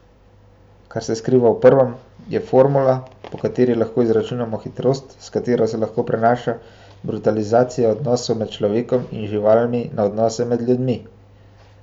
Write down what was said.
Kar se skriva v prvem, je formula, po kateri lahko izračunamo hitrost, s katero se lahko prenaša brutalizacija odnosov med človekom in živalmi na odnose med ljudmi.